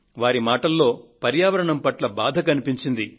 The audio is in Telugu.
వారి మాటలలో పర్యావరణం పట్ల బాధ కనిపించింది